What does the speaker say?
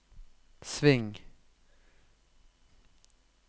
sving